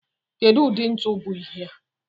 Kedu ụdị ntu bụ ihea?